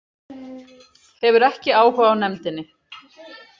Hefur ekki áhuga á nefndinni